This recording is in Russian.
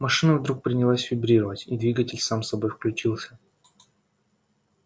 машина вдруг принялась вибрировать и двигатель сам собой включился